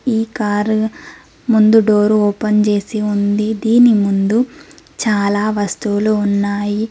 ఈ కార్ ముందు door open చేసి ఉంది దీని ముందు చాలా వస్తువులు ఉన్నాయి.